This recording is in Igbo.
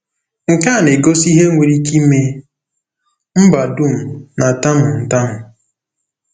Nke a na-egosi ihe nwere ike ime mba dum na-atamu ntamu.